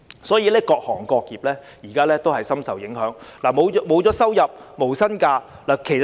所以，現時各行各業也深受影響，僱員沒有收入或要放無薪假。